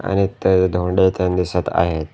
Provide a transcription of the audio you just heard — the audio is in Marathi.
आणि इथे धोंडे तेन दिसत आहेत.